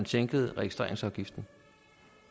sænkede registreringsafgiften